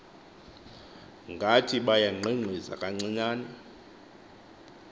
ngathi bayangqingqiza kancinane